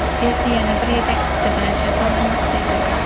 "Chelsi" yana bir yetakchisi bilan shartnomani uzaytirdi.